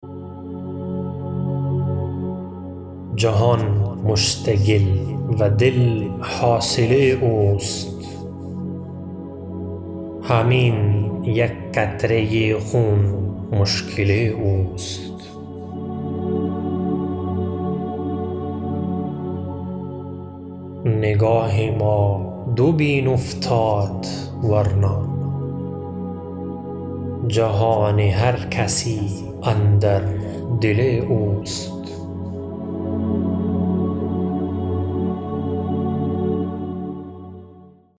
جهان مشت گل و دل حاصل اوست همین یک قطره خون مشکل اوست نگاه ما دو بین افتاد ورنه جهان هر کسی اندر دل اوست